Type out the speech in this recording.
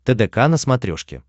тдк на смотрешке